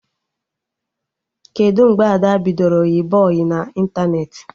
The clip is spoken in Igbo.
Kedụ mgbe Ada bidoro yịba ọyị na ịntanetị?